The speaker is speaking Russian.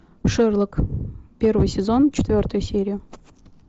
шерлок первый сезон четвертая серия